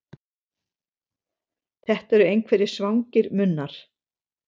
Þetta eru einhverjir svangir munnar.